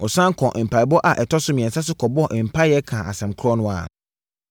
Ɔsane kɔɔ mpaeɛbɔ a ɛtɔ so mmiɛnsa so kɔbɔɔ mpaeɛ kaa asɛm korɔ no ara.